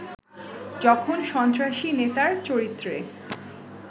যখন সন্ত্রাসী নেতার চরিত্রে